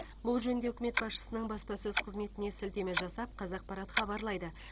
бұл жөнінде үкімет басшысының баспасөз қызметіне сілтеме жасап қазақпарат хабарлайды